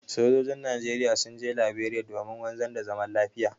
Sojojin Najeriya sun je Laberiya domin wanzar da zaman lafiya.